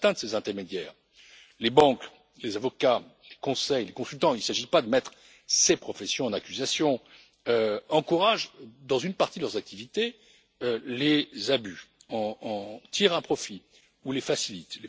Certains de ces intermédiaires, les banques, les avocats, les conseils, les consultants il ne s'agit pas de mettre ces professions en accusation encouragent, dans une partie de leurs activités, les abus, en tirent un profit ou les facilitent.